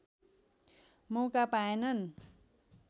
मौका पाएनन्